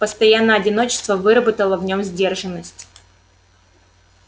постоянное одиночество выработало в нем сдержанность